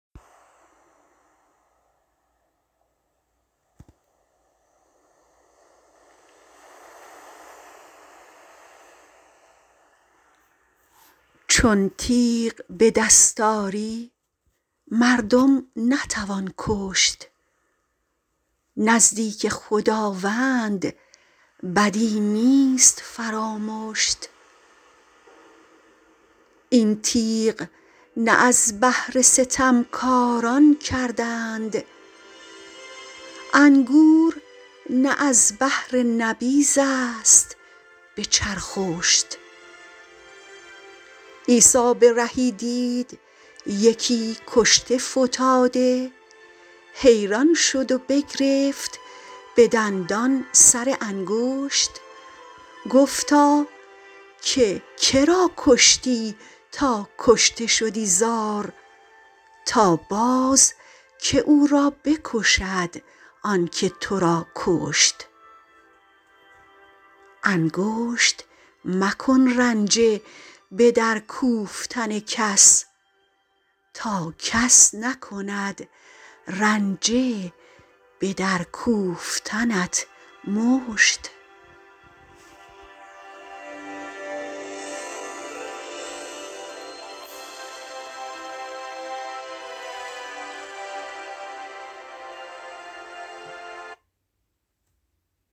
چون تیغ به دست آری مردم نتوان کشت نزدیک خداوند بدی نیست فرامشت این تیغ نه از بهر ستمکاران کردند انگور نه از بهر نبیذ است به چرخشت عیسی به رهی دید یکی کشته فتاده حیران شد و بگرفت به دندان سر انگشت گفتا که که را کشتی تا کشته شدی زار تا باز که او را بکشد آن که تو را کشت انگشت مکن رنجه به در کوفتن کس تا کس نکند رنجه به در کوفتنت مشت